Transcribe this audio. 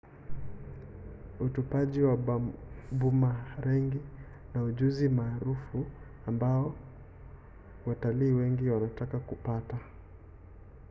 utupaji wa bumarengi ni ujuzi maarufu ambao watalii wengi wanataka kupata